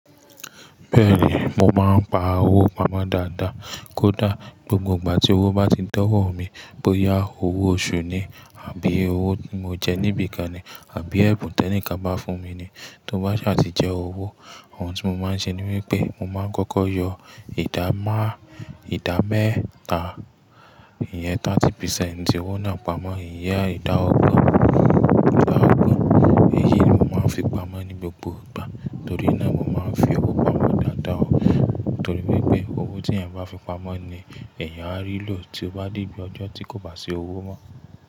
Bẹ́ẹ̀ni, mo máa ń pa owó pamọ́ dáadáa. Kódà gbogbo ìgbà tí owó bá ti dọ̀wọ́ mi, bóyá owó oṣù ni àbí owó tí mo jẹ níbi kan ni àbí ẹ̀bùn tẹ́níìka bá fún mi ni, tó bá sì máa ti jẹ owó, ohun tí mo máa ń ṣe ni wípé mo máa ń kọ́kọ́ yọ ìdáma ìdámẹ́ta, ìyẹn 30% owó náà pamọ́, ìyẹn ìdá ògbon, ìdá ògbon. Èyí ni mo máa ń fi pamọ́ ní gbogbo ìgbà torí náà mo máa ń fi owó pamọ́ dáadáa. Torí pé owó tí èèyàn bá fi pamọ́ ni èèyàn á rí lò tí ó bá di ibi ọjọ́ tí kò bá ṣe owó mọ́